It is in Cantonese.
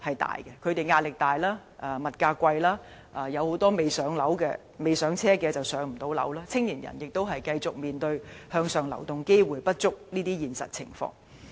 他們壓力大，而物價貴，加上有很多人未能置業，而青年人亦要繼續面對向上流動機會不足這個事實。